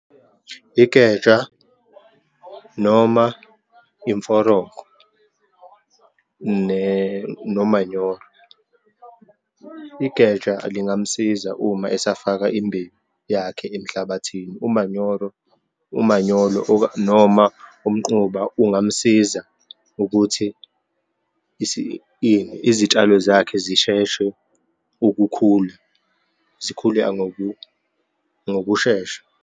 Igeja, noma imforoko nomanyoro. Igeja lingamsiza uma esafaka imbewu yakhe emhlabathini, umanyoro, umanyolo noma umquba ungamsiza ukuthi izitshalo zakhe zisheshe ukukhula, zikhule ngokushesha.